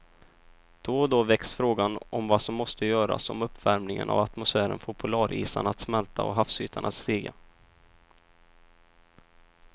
Då och då väcks frågan om vad som måste göras om uppvärmingen av atmosfären får polarisarna att smälta och havsytan att stiga.